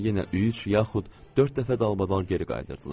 Sonra yenə üç yaxud dörd dəfə dalbadal geri qayıdırdılar.